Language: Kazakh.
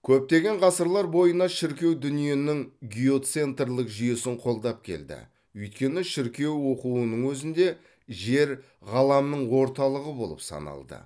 көптеген ғасырлар бойына шіркеу дүниенің геоцентрлік жүйесін қолдап келді өйткені шіркеу оқуының өзінде жер ғаламның орталығы болып саналды